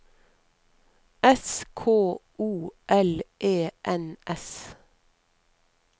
S K O L E N S